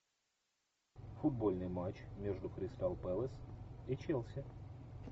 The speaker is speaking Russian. футбольный матч между кристал пэлас и челси